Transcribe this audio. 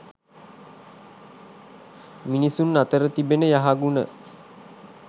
මිනිසුන් අතර තිබෙන යහගුණ